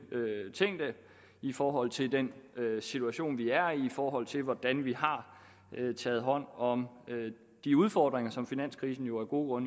tænkte i forhold til den situation vi er i og i forhold til hvordan vi har taget hånd om de udfordringer som finanskrisen jo af gode